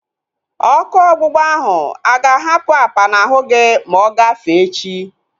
Ọkụ ọgbụgba ahu aga ahapụ apa n'ahu gị ma ọ gafee echi?